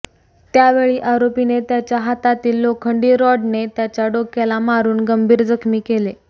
त्यावेळी आरोपीने त्याच्या हातातील लोखंडी रॉडने त्यांच्या डोक्याला मारून गंभीर जखमी केले